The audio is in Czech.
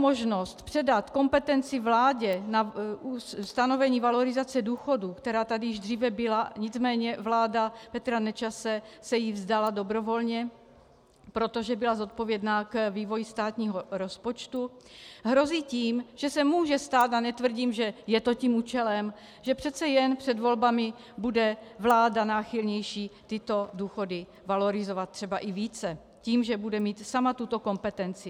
Možnost předat kompetenci vládě na stanovení valorizace důchodů, která tady již dříve byla, nicméně vláda Petra Nečase se jí vzdala dobrovolně, protože byla zodpovědná k vývoji státního rozpočtu, hrozí tím, že se může stát, a netvrdím, že je to tím účelem, že přeci jen před volbami bude vláda náchylnější tyto důchody valorizovat třeba i více tím, že bude mít sama tuto kompetenci.